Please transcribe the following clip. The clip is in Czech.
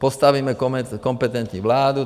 Postavíme kompetentní vládu.